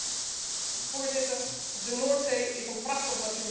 Voorzitter, de Noordzee is een prachtig natuurgebied.